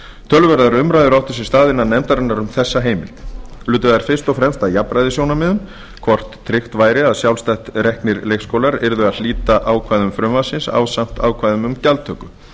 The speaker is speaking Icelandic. töluverðar umræður áttu sér stað innan nefndarinnar um þessa heimild lutu þær fyrst og fremst að jafnræðissjónarmiðum hvort tryggt væri að sjálfstætt reknir leikskólar yrðu að hlíta ákvæðum frumvarpsins ásamt ákvæðum um gjaldtöku